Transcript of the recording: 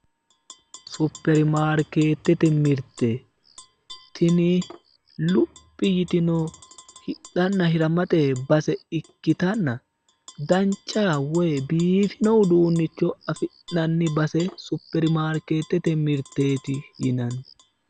Superi maarkeete mirte tini luphi yitino hidhanna hiramate base ikkitanna dancha woyi biifino uduunnicho afi'nanni base superi maarkeettete mirteeeti yinanni